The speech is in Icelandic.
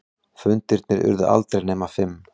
Fundirnir urðu aldrei nema fimm.